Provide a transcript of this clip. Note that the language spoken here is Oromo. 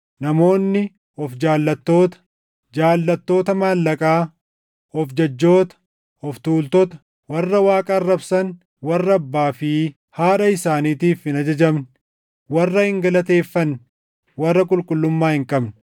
Namoonni of jaallattoota, jaallattoota maallaqaa, of jajjoota, of tuultota, warra Waaqa arrabsan, warra abbaa fi haadha isaaniitiif hin ajajamne, warra hin galateeffanne, warra qulqullummaa hin qabne,